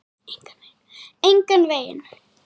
Engan veginn